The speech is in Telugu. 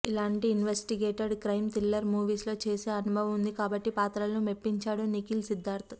ఇలాంటి ఇన్వెస్టిగేటెడ్ క్రైం థ్రిల్లర్ మూవీస్ లో చేసీ అనుభవం ఉంది కాబట్టి పాత్రలో మెప్పించాడు నిఖిల్ సిద్ధార్థ్